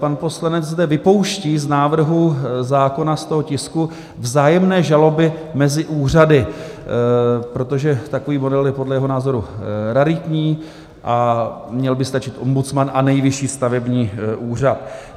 Pan poslanec zde vypouští z návrhu zákona, z toho tisku vzájemné žaloby mezi úřady, protože takový model je dle jeho názoru raritní a měl by stačit ombudsman a Nejvyšší stavební úřad.